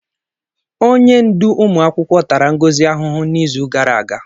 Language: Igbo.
Onye ndú ụmụakwụkwọ tara Ngozi ahụhụ n'izu gara aga.